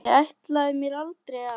Ég ætlaði mér aldrei að.